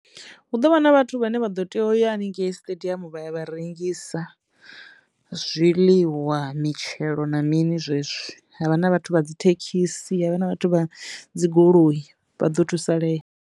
Hu ḓo vha na vhathu vhane vha ḓo tea uya haningei stadium vha ya vha rengisa zwiḽiwa, mitshelo na mini zwezwo havha na vhathu vha dzi thekhisi havha na vhathu vha dzi goloi vha ḓo thusaleya.